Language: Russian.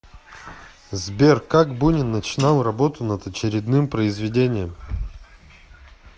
сбер как бунин начинал работу над очередным произведением